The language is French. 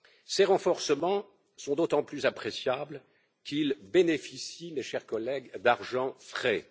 Ces renforcements sont d'autant plus appréciables qu'ils bénéficient, mes chers collègues, d'argent frais.